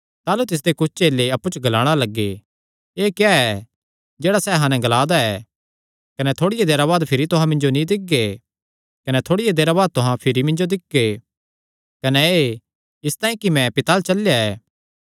ताह़लू तिसदे कुच्छ चेले अप्पु च ग्लाणा लग्गे एह़ क्या ऐ जेह्ड़ा सैह़ अहां नैं ग्ला दा ऐ कने थोड़िया देरा बाद भिरी तुहां मिन्जो नीं दिक्खगे कने थोड़िया देरा बाद तुहां भिरी मिन्जो दिक्खगे कने एह़ इसतांई कि मैं पिता अल्ल चलेया ऐ